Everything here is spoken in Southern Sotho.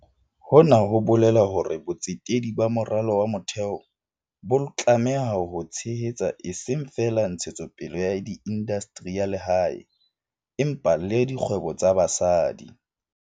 Hona ho bolela hore botsetedi ba moralo wa motheo bo tlameha ho tshehetsa eseng feela ntshetsopele ya indastri ya lehae, empa le dikgwebo tsa basadi.